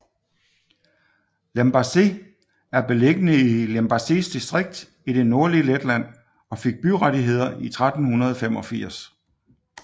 Limbaži er beliggende i Limbažis distrikt i det nordlige Letland og fik byrettigheder i 1385